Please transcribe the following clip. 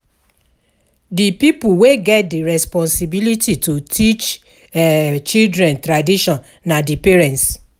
Di pipo wey get di responsibility to teach um children tradition na di parents